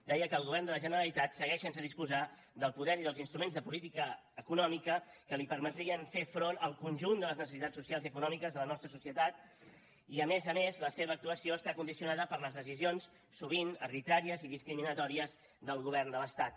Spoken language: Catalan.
deia que el govern de la generalitat segueix sense disposar del poder i dels instruments de política econòmica que li permetrien fer front al conjunt de les necessitats socials i econòmiques de la nostra societat i a més a més la seva actuació està condicionada per les decisions sovint arbitràries i discriminatòries del govern de l’estat